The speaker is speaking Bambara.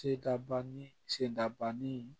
Se dabannin sen da banni